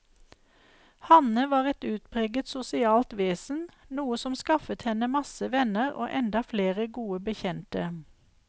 Hanne var et utpreget sosialt vesen, noe som skaffet henne masse venner og enda flere gode bekjente.